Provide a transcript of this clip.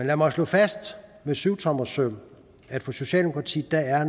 lad mig slå fast med syvtommersøm at for socialdemokratiet er